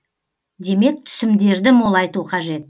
демек түсімдерді молайту қажет